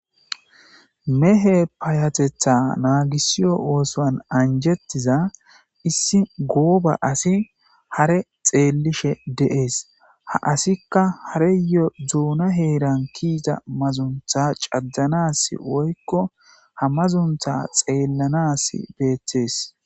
mehe paayatetha naagisiyo ooson anjettiza issi gooba asi hare xeellishe de7ees ha asikka hareyo dzuuna heeran kiiza mazuntha caddanas woykko ha mazuntha xeellanas beettees